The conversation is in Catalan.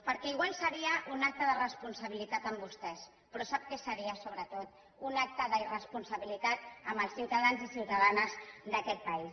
perquè potser seria un acte de responsabilitat amb vostès però sap què seria sobretot un acte d’irresponsabilitat amb els ciutadans i ciutadanes d’aquest país